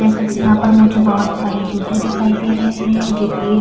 جیسا کی یہاں پر مجھے بھوت سارے جوتے دکھائی دے رہے ہے۔ جو کی --